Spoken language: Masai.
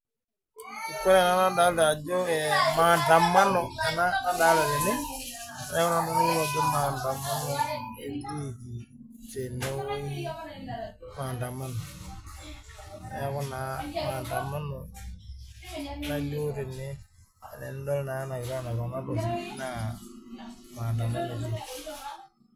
Ore ena nadolita mandamano ena nadolita tene mandamano etikii tenewueji neeku naa mandamano nalio tene tenidol naa kulo naa mandamano etii